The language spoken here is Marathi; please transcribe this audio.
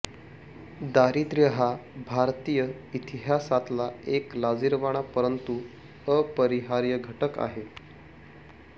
दारिद्रय़ हा भारतीय इतिहासातला एक लाजिरवाणा परंतु अपरिहार्य घटक आहे